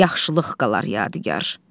Yaxşılıq qalar yadigar.